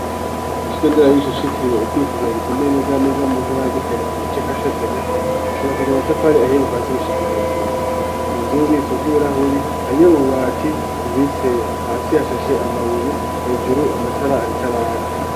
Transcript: Ukigo ndera bigicocitiriwe ukwikugira gitumeye neza neza mu ntara yagitega mu gace ka shatanya cubakije amatafari ahihe guvasi gushika hejuru mu nzu ububiko bw'ibirahuri hariyo ububati bubitseyo hasi hashashe amabuye hejuru amatara arikaraka.